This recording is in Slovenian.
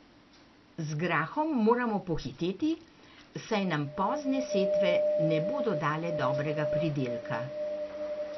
Z grahom moramo pohiteti, saj nam pozne setve ne bodo dale dobrega pridelka.